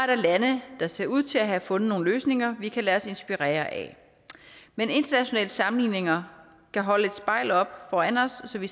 der lande der ser ud til have fundet nogle løsninger vi kan lade os inspirere af men internationale sammenligninger kan holde et spejl op foran os så vi